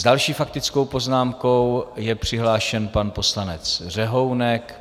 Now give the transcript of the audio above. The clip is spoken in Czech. S další faktickou poznámkou je přihlášen pan poslanec Řehounek.